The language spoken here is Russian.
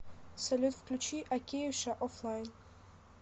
салют включи океюша офлайн